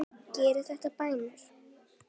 Gerið þetta, bændur!